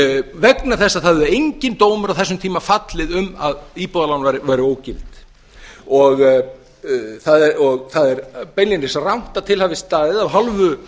vegna þess þess að það hafði enginn dómur á þessum tíma fallið um að íbúðalán væru ógild það er beinlínis rangt að til hafi staðið af hálfu